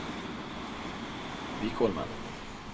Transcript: Vikholmen